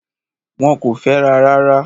Wọ́n kò fẹ́ra rárá.